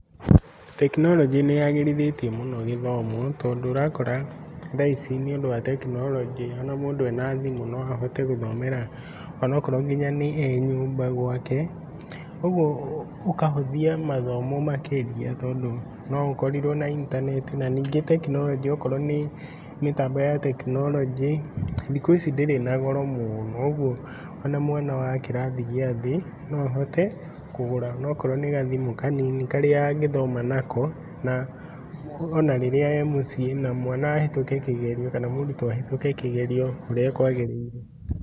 Tekinoronjĩ nĩyagĩrithĩtie mũno gĩthomo tondũ ũrakora thaa ici nĩũndũ wa tekinoronjĩ ona mũndũ ena thimũ no ahoete gũthomera ona korwo nĩ e nyũmba gwake, ũguo ũkahũthia mathomo makĩrĩa tondũ no ũkorirwo na intaneti. Na ningĩ tekinoronjĩ okorwo nĩ mĩtambo ya tekinoronjĩ thikũ ici ndĩrĩ na goro mũno koguo ona mwana wa kĩrathi gĩa thĩ no ahote kũgũra ona okorwo nĩ gathimũ kanini karĩa angĩthoma nako na ona rĩrĩa ee mũciĩ na mwana ahetũke kĩgerio kana mũrutwo ahetũke kĩgerio ũrĩa kwagĩrĩire.